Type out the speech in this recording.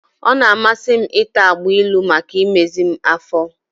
Ọ na-amasị m ịta agbailu maka imezi m afọ.